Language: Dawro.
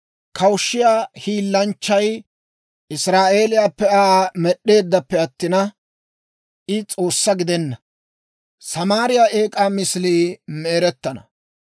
Kushiyaa hiillanchchay Israa'eeliyaappe Aa med'd'eeddappe attina, I S'oossaa gidenna. Samaariyaa eek'aa misilii me"erettana.